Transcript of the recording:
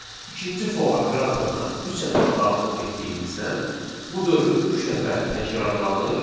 İkinci for operatoruna üç ədəd daxil etdiyimizdən bu dövr üç dəfə təkrarlanır.